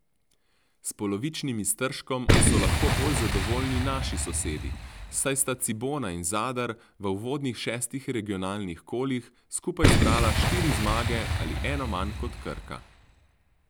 S polovičnim iztržkom so lahko bolj zadovoljni naši sosedi, saj sta Cibona in Zadar v uvodnih šestih regionalnih kolih skupaj zbrala štiri zmage ali eno manj kot Krka.